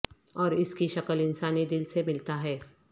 اور اس کی شکل انسانی دل سے ملتا ہے